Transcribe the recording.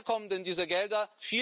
Woher kommen denn diese Gelder?